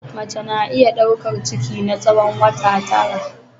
Mace na iya daukar ciki na tsawon wata tara.